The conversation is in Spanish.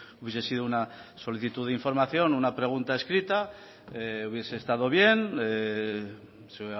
hubiese sido una solicitud de información una pregunta escrita hubiese estado bien se